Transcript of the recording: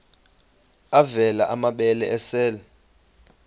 avela amabele esel